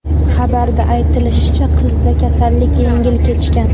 Xabarda aytilishicha, qizda kasallik yengil kechgan.